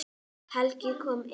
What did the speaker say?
Helga kom inn.